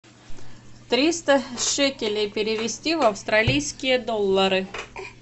триста шекелей перевести в австралийские доллары